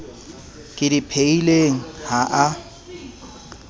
ke di phehileng ha a